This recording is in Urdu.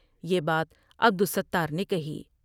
یہ بات عبدالستار نے کہی ۔